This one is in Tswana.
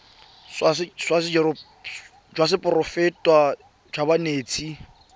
jwa seporofe enale jwa banetshi